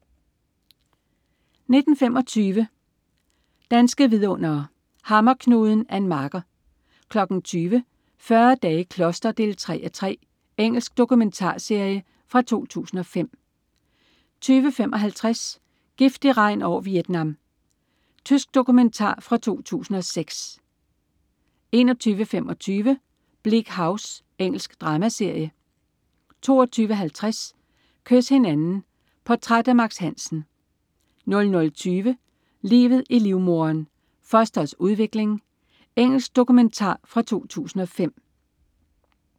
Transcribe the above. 19.25 Danske vidundere: Hammerknuden. Ann Marker 20.00 40 dage i kloster 3:3. Engelsk dokumentarserie fra 2005 20.55 Giftig regn over Vietnam. Tysk dokumentar fra 2006 21.25 Bleak House. Engelsk dramaserie 22.50 Kys hinanden. Portræt af Max Hansen 00.20 Livet i livmoderen. Fostrets udvikling. Engelsk dokumentarfilm fra 2005